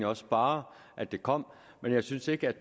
også bare at det kom men jeg synes ikke